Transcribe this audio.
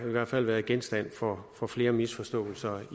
i hvert fald været genstand for for flere misforståelser